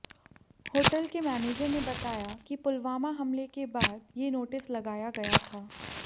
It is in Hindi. होटल के मैनेजर ने बताया कि पुलवामा हमले के बाद ये नोटिस लगाया गया था